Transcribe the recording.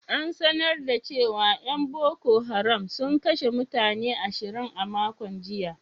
An sanar da cewa ‘yan Boko Haram sun kashe mutane ashirin a makon jiya.